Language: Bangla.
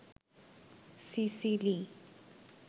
সিসিলি